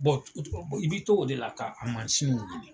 i bɛ to o de la ka a mansin nin wuli.